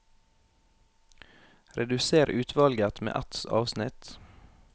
Redusér utvalget med ett avsnitt